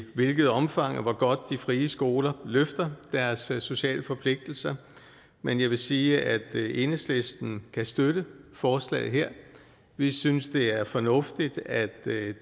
hvilket omfang og hvor godt de frie skoler løfter deres sociale forpligtelser men jeg vil sige at enhedslisten kan støtte forslaget her vi synes det er fornuftigt at